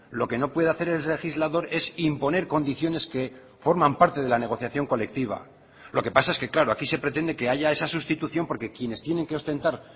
lo que no puede hacer el legislador es imponer condiciones que forman parte de la negociación colectiva lo que pasa es que claro aquí se pretende que haya esa sustitución porque quienes tienen que ostentar